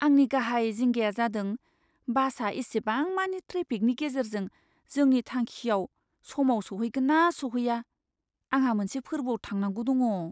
आंनि गाहाय जिंगाया जादों बासआ इसिबांमानि ट्रेफिकनि गेजेरजों जोंनि थांखिआव समाव सौहैगोन ना सौहैआ। आंहा मोनसे फोरबोआव थांनांगौ दङ।